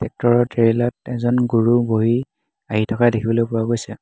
Tractor ত ট্ৰেলাত এজন গুৰু বহি আহি থকা দেখিবলৈ পোৱা গৈছে।